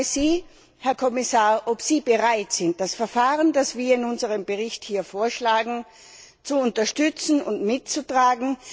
Ich frage Sie, Herr Kommissar, ob Sie bereit sind, das Verfahren, das wir in unserem Bericht vorschlagen, zu unterstützen und mitzutragen.